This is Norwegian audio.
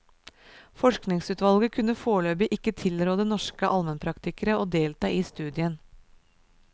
Forskningsutvalget kunne foreløpig ikke tilråde norske almenpraktikere å delta i studien.